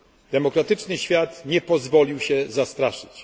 Demokratyczny świat nie pozwolił się zastraszyć.